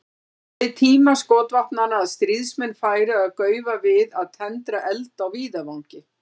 Það beið tíma skotvopnanna að stríðsmenn færu að gaufa við að tendra eld á víðavangi.